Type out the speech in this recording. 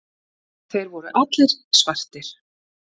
Þeir voru allir svartir.